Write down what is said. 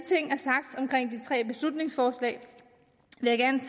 tre beslutningsforslag